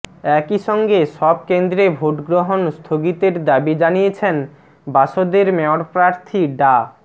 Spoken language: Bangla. একইসঙ্গে সব কেন্দ্রে ভোটগ্রহণ স্থগিতের দাবি জানিয়েছেন বাসদের মেয়রপ্রার্থী ডা